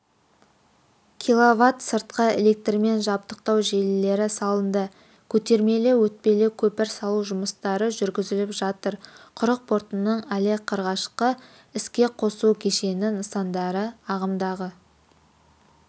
квт сыртқы электрмен жабдықтау желілері салынды көтермелі-өтпелі көпір салу жұмыстары жүргізіліп жатыр құрық портының але қрғашқы іске қосу кешені нысандары ағымдағы